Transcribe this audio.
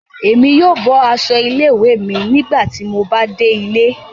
Èmi yóò bọ aṣọ ilé-ìwé mi nígbàtí mo bà dé ilé